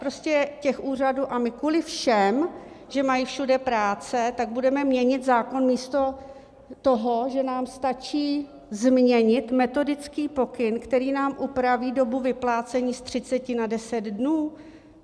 Prostě těch úřadů - a my kvůli všem, že mají všude práce, tak budeme měnit zákon, místo toho, že nám stačí změnit metodický pokyn, který nám upraví dobu vyplácení z 30 na 10 dnů?